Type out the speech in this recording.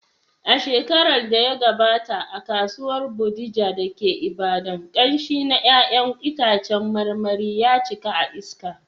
A shekarar da ta gabata, a Kasuwar Bodija da ke Ibadan, ƙamshi na ’ya’yan itacen marmari ya cika a iska.